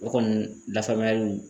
O kɔni lafaamuyaliw